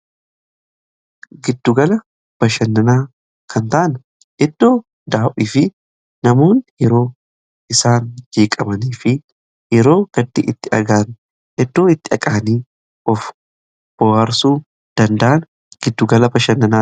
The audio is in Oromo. Giddugala bashannanaa kan ta'an eddoo daawwii fi namoonni yeroo isaan jeeqamanii fi yeroo gaddi itti dhagahame eddoo itti dhaqanii of bohaarsuu danda'an giddugala bashannanaa jedhama.